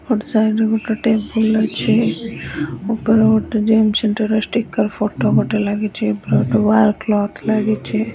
ଗୋଟେ ସାଇଡି ରେ ଗୋଟେ ଟେବୁଲ ଅଛି ଉପରେ ଗୋଟେ ଜିମ୍ ସେଣ୍ଟର୍ ର ଷ୍ଟିକର ଫୋଟୋ ଗୋଟେ ଲାଗିଛି ଏପଟେ ୱାଲ୍ କ୍ଲଥ ଲାଗିଛି।